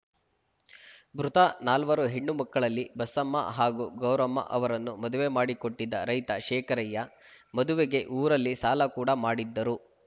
ಮೃತ ನಾಲ್ವರು ಹೆಣ್ಣು ಮಕ್ಕಳಲ್ಲಿ ಬಸಮ್ಮ ಹಾಗೂ ಗೌರಮ್ಮ ಅವರನ್ನು ಮದುವೆ ಮಾಡಿಕೊಟ್ಟಿದ್ದ ರೈತ ಶೇಖರಯ್ಯ ಮದುವೆಗೆ ಊರಲ್ಲಿ ಸಾಲ ಕೂಡ ಮಾಡಿದ್ದರು